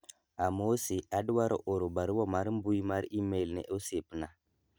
amosi adwaro oro barua mar mbui mar email ne osiepna